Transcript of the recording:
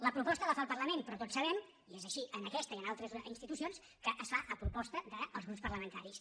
la proposta la fa el parlament però tots sabem i és així en aquesta i en altres institucions que es fa a proposta dels grups parlamentaris